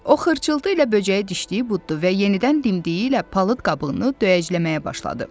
O xırçıltı ilə böcəyi dişləyib buddu və yenidən dimdiyi ilə palıd qabığını döyəcləməyə başladı.